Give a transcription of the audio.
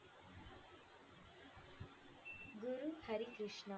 Guru Harikrishna.